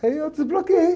Aí eu desbloqueei.